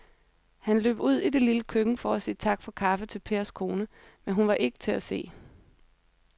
Han løb ud i det lille køkken for at sige tak for kaffe til Pers kone, men hun var ikke til at se.